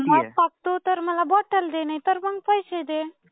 मत टाकतो तर मला बॉटल दे, नाहीतर मंग पैसे दे.